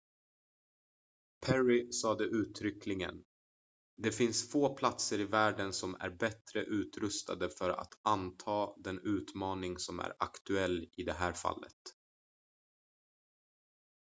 "perry sade uttryckligen: "det finns få platser i världen som är bättre utrustade för att anta den utmaning som är aktuell i det här fallet.""